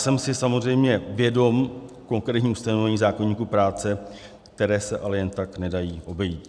Jsem si samozřejmě vědom konkrétních ustanovení zákoníku práce, která se ale jen tak nedají obejít.